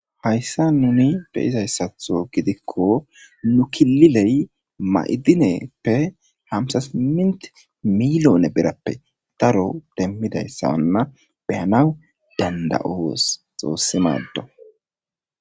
Hayssan nuni be'izayssatho gidiko nu kililey ma'idineppe hamsa simint milyone birappe daro demidayssana be'anaw danada'os xoossi maado.